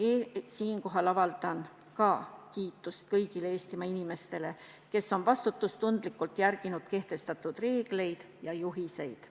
Siinkohal avaldan kiitust kõigile Eestimaa inimestele, kes on vastutustundlikult järginud kehtestatud reegleid ja juhiseid.